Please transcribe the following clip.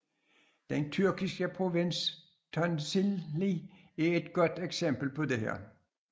Den tyrkiske provins Tunceli er et godt eksempel på dette